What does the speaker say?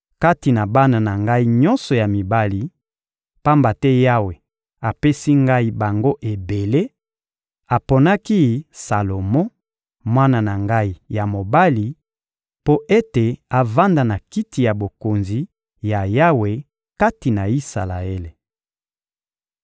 Kati na bana na ngai nyonso ya mibali, pamba te Yawe apesi ngai bango ebele, aponaki Salomo, mwana na ngai ya mobali, mpo ete avanda na Kiti ya Bokonzi ya Yawe kati na Isalaele.